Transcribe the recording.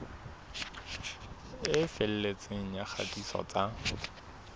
e felletseng ya kgatiso tsa